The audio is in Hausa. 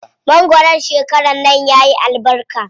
Mangwaron shekaran nan yayi albarka.